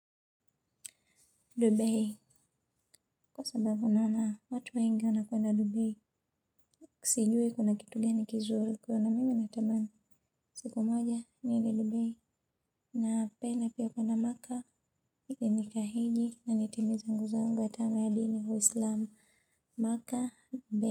Dubei, kwa sababu naona, watu wengi wanakwenda Dubei, sijui kuna kitu gani kizuri, huko na mimi natamani. Siku moja, niende Dubei, napenda pia kuenda Mecca, itinika heji, na nitimize ngu zangu ya tano ya dini uislamu, Mecca, Dubei.